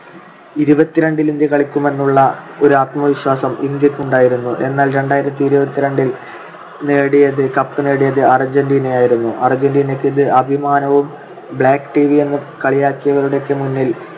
ഇരുപത്തിരണ്ടിൽ ഇന്ത്യ കളിക്കുമെന്നുള്ള ഒരു ആത്മവിശ്വാസം ഇന്ത്യക്ക് ഉണ്ടായിരുന്നു. എന്നാൽ രണ്ടായിരത്തിഇരുപത്തിരണ്ടിൽ നേടിയത് ~ cup നേടിയത് അർജന്റീന ആയിരുന്നു. അർജന്റീനക്ക് ഇത് അഭിമാനവും black എന്ന് കളിയാക്കിയവരുടെയൊക്കെ മുന്നിൽ